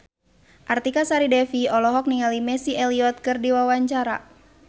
Artika Sari Devi olohok ningali Missy Elliott keur diwawancara